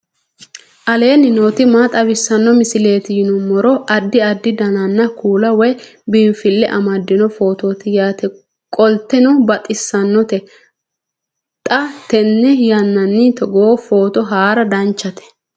aleenni nooti maa xawisanno misileeti yinummoro addi addi dananna kuula woy biinfille amaddino footooti yaate qoltenno baxissannote xa tenne yannanni togoo footo haara danchate